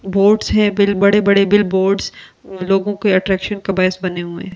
Boards हैं bill बड़े-बड़े billboards लोगों के अट्रैक्शन का बायस बने हुए हैं।